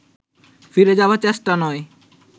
ফিরে যাবার চেষ্টা নয়